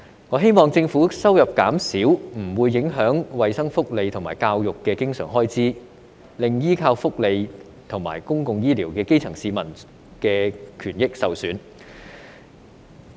我希望政府收入減少不會影響衞生福利和教育的經常開支，令依靠福利和公共醫療的基層市民的權益受損。